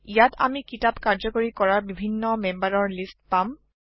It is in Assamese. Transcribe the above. ইয়াত আমি কিতাপ কাৰ্যকাৰি কৰাৰ বিভিন্ন মেম্বাৰৰ লিষ্ট পাম